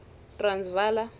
transvala